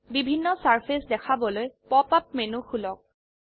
বিভিন্ন সাৰফেস দেখাবলৈ pop up menu খুলক